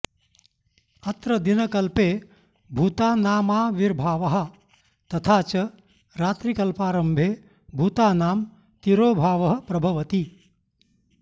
अत्र दिनकल्पे भूतानामाविर्भावः तथा च रात्रिकल्पारम्भे भूतानां तिरोभावः प्रभवति